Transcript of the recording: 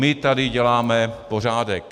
My tady děláme pořádek."